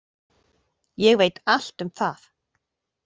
Ég veit allt um það.